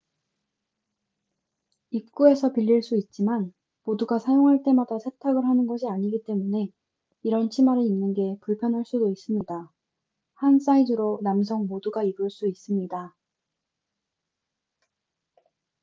입구에서 빌릴 수 있지만 모두가 사용할 때마다 세탁을 하는 것이 아니기 때문에 이런 치마를 입는 게 불편할 수도 있습니다 한 사이즈로 남성 모두가 입을 수 있습니다